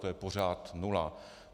To je pořád nula.